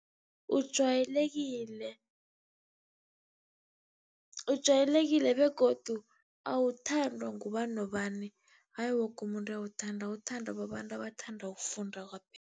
Ujayelekile, ujayelekile begodu awuthandwa ngubani nobani, ayi woke umuntu uyawuthanda, uthandwa babantu abathanda ukufunda